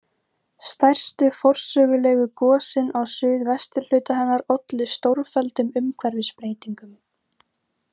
Stærstu forsögulegu gosin á suðvesturhluta hennar ollu stórfelldum umhverfisbreytingum.